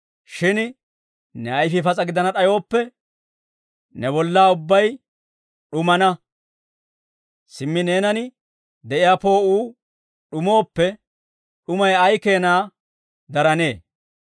Shin ne ayfii pas'a gidana d'ayooppe, ne bollaa ubbay d'umana; simmi neenan de'iyaa poo'uu d'umooppe, d'umay ay keenaa daranee!